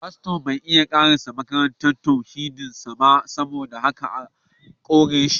Faston bai iya karasa makarantar tauhidin sa ba saboda haka aka kore shi